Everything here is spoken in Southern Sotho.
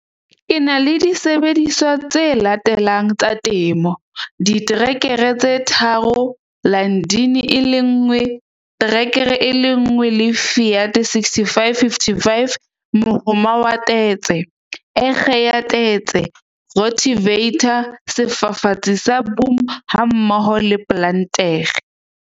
Ke na le disebediswa tse latelang tsa temo- diterekere tse tharo, Landini e le nngwe, track e le nngwe le Fiat 6555, mohoma wa tetse, ekge ya tetse, rotavator, sefafatsi sa boom hammoho le plantere.